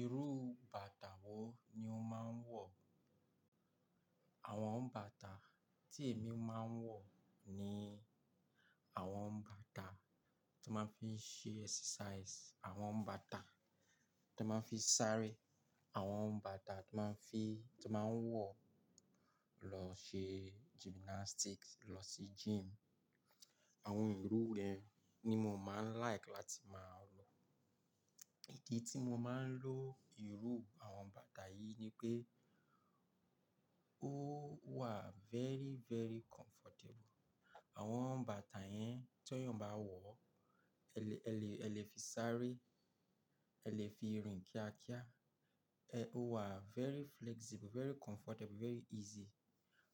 Irú bàtà wo ni o máa ń wọ̀? Àwọn bàtà tí èmi máa ń wọ̀ ni àwọn bàtà tí n máa fi ń ṣe exercise, àwọn bàtà tón máa ń fi sáré, àwọn bàtà tón máa ń fi-- tón máa ń wọ̀ lọ ṣe gymnastics, lọ sí gym. Àwọn irú yẹn ni mo máa ń like láti máa wò. Ìdí tí mo máa ń lo irú àwọn bàtà yìí ni pé ó wà very, very comfortable. Àwọn bàtà yẹn téèyàn bá wọ̀, ẹ lè ẹ lè ẹ lè fi sáré, ẹ lè fi rìn kíákíá. Ẹ-- ó wà very flexible, very comfortable, very easy.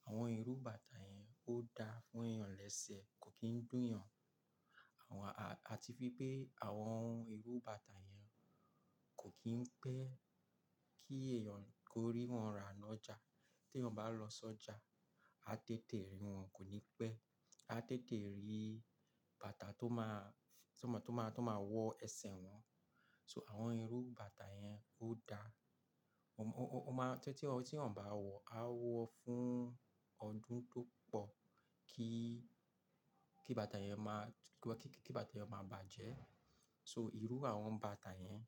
Àwọn irú bàtà yẹn, ó dáa fún èèyàn lẹ́sẹ̀, kò kì ń dunyan àti wípé àwọn irú bàtà yẹn, kò kì ń pẹ́ kí èèyàn kó rí wọn rà lọ́jà. Téèyàn bá lọ sọ́jà, a tètè rí wọn kò ní pẹ́ a tètè rí bàtà tó máa, tó máa tó máa tó máa wọ ẹsẹ̀ wọn so àwọn irú bàtà yẹn, ó dáa, ó ó ó máa ń, tí tí téèyàn bá wọ̀, a wọ̀ fún ọdún tó pọ̀ kí kí bàtà yẹn máa kí kí kí bàtà ma bàjẹ́, so irú àwọn bàtà yẹn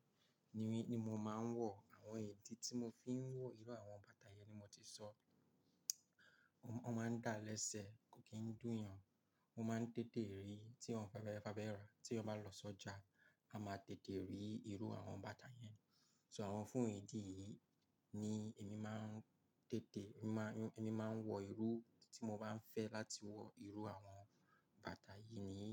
ni ni mo máa ń wọ̀. Àwọn ìdí tí mo fi ń wọ irú àwọn bàtà yẹn ni mo ti sọ. Ó máa ń dáa lẹ́sẹ̀ kò kì ń dunyan, wọ́n máa ń tètè rí téèyàn bá fẹ́ rà. Téèyàn bá lọ sọ́jà a máa tètè rí irú àwọn bàtà yẹn, so àwọn fún ìdí yìí ni èmi máa ń tètè èmi máa ń èmi máa ń wọ irú tí mo bá ń fẹ́ láti wọ irú àwọn bàtà yìí ni.